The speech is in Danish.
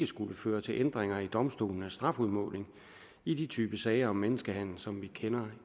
skal føre til ændringer i domstolenes strafudmåling i de typer af sager om menneskehandel som vi kender